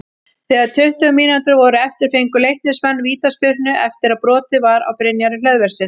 Þegar tuttugu mínútur voru eftir fengu Leiknismenn vítaspyrnu eftir að brotið var á Brynjari Hlöðverssyni.